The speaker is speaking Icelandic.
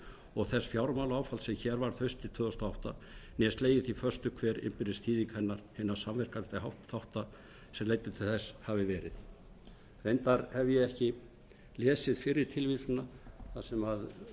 og þess fjármálaáfalls sem hér varð haustið tvö þúsund og átta né slegið því föstu hver innbyrðis þýðing hennar hinna samverkandi þátta sem leiddi til þess hafi verið reyndar hef ég ekki lesið fyrri tilvísunina þar sem